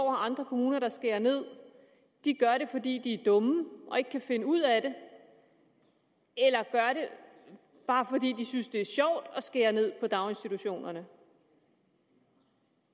og andre kommuner der skærer ned gør det fordi de er dumme og ikke kan finde ud af det eller gør det bare fordi de synes det er sjovt at skære ned på daginstitutionerne